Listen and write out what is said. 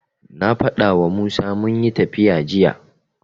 Na faɗawa Musa munyi tafiya jiya.